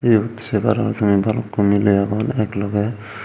eyot sei paror tumi balukko miley agon ek logey.